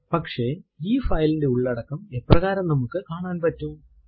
പക്ഷെ ഈ ഫൈൽ ന്റെ ഉള്ളടക്കം എപ്രകാരം നമുക്ക് കാണാൻ പറ്റും